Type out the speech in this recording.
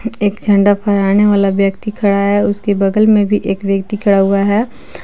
एक झंडा फहराने वाला व्यक्ति खड़ा है उसके बगल में भी एक व्यक्ति खड़ा हुआ है।